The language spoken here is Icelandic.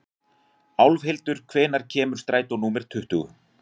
Álfhildur, hvenær kemur strætó númer tuttugu?